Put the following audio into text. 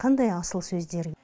қандай асыл сөздер